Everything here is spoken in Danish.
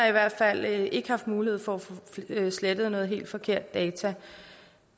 i hvert fald ikke har mulighed for at få slettet nogle helt forkerte data